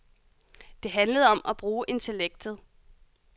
Det handlede om at bruge intellektet.